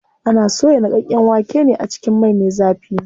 Ana soya niƙaƙƙen waken ne a cikin mai me zafi.